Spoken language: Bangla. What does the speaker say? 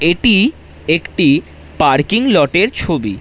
এটি একটি পার্কিং লট এর ছবি।